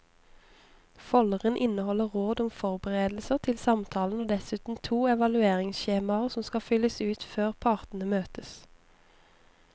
Folderen inneholder råd om forberedelser til samtalen og dessuten to evalueringsskjemaer som skal fylles ut før partene møtes.